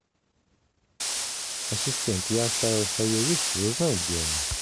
ассистент я оставил в фойе вещи узнай где они